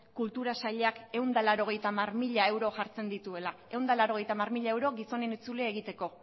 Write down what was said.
kultura sailak ehun eta laurogeita hamar mila euro jartzen dituela ehun eta laurogeita hamar mila euro gizonen itzulia egiteko